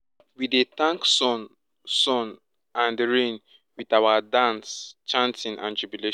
we dey thank sun sun and rain with our dance chanting and jubilation